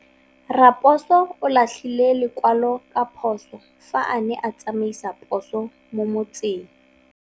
Raposo o latlhie lekwalô ka phosô fa a ne a tsamaisa poso mo motseng.